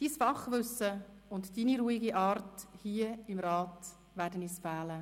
Dein Fachwissen und deine ruhige Art hier im Rat werden uns fehlen.